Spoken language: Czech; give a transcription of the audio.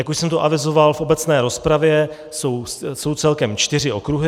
Jak už jsem tu avizoval v obecné rozpravě, jsou celkem čtyři okruhy.